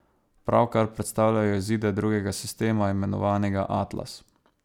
Pravkar predstavljajo izide drugega sistema, imenovanega Atlas.